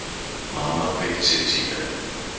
Mamma kveikir sér í sígarettu.